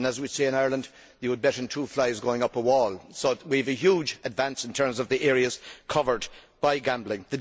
As we say in Ireland, you could bet on two flies going up a wall. So we have a huge advance in terms of the areas covered by gambling.